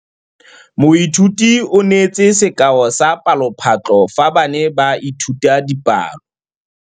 Moithuti o neetse sekaô sa palophatlo fa ba ne ba ithuta dipalo.